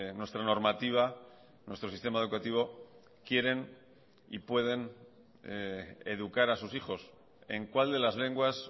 nuestra normativa nuestro sistema educativo quieren y pueden educar a sus hijos en cuál de las lenguas